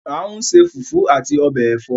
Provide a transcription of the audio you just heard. A n se fufu ati obe èfọ́